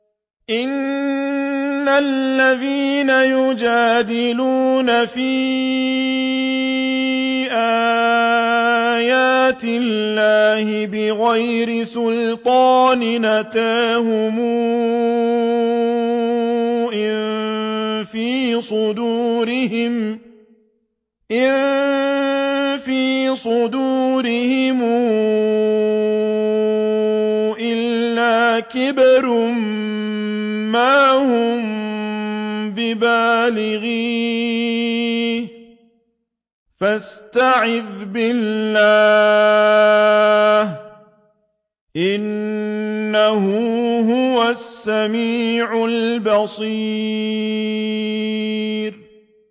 إِنَّ الَّذِينَ يُجَادِلُونَ فِي آيَاتِ اللَّهِ بِغَيْرِ سُلْطَانٍ أَتَاهُمْ ۙ إِن فِي صُدُورِهِمْ إِلَّا كِبْرٌ مَّا هُم بِبَالِغِيهِ ۚ فَاسْتَعِذْ بِاللَّهِ ۖ إِنَّهُ هُوَ السَّمِيعُ الْبَصِيرُ